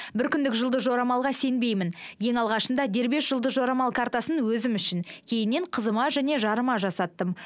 бір күндік жұлдыз жорамалға сенбеймін ең алғашында дербес жұлдыз жорамал картасын өзім үшін кейіннен қызыма және жарыма жасаттым